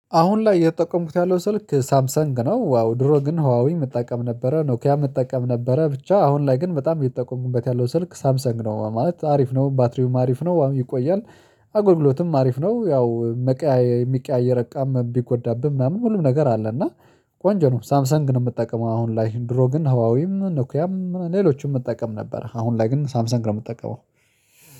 አሁን ላይ እየተጠቀምኩት ያለው ስልክ ሳምሰንግ ነው ዋው ድሮ ግን ሀዋዊ መጠቀም ነበረ ኖኪያ መጠቀም ነበረ ብቻ አሁን ላይ ግን በጣም የሚጠቁምበት ያለው ስልክ ሳምሰንግ ነው ማለት አሪፍ ነው ባትሪውም አሪፍ ነው ዋሚ ይቆያል። አጎልግሎትም አሪፍ ነው ያው የሚቀያየር እቃ ቢጎዳብህ ምናምን ሁሉም ነገር አለ እና ቆንጆ ነው። ሳምሰን ግን የምትጠቀመው አሁን ላይ ድሮ ግን ሀዋዊም እነ ኖኩያም ሌሎችም እጠቀም ነበር አሁን ላይ ግን ሳምሰን ነው የምጠቀመው።